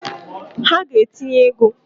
Ha ga-etinye ego!